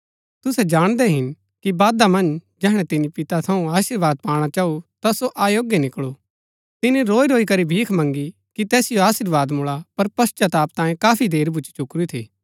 तुसै जाणदै हिन कि बादा मन्ज जैहणै तिनी पिता थऊँ अशीर्वाद पाणा चाऊ ता सो अयोग्‍य निकळू तिनी रोईरोई करी भीख मँगी कि तैसिओ अशीर्वाद मुळा पर पश्‍चाताप तांये काफी देर भूच्ची चुकुरी थी